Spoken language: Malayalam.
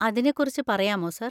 അതിനെകുറിച്ച് പറയാമോ, സർ?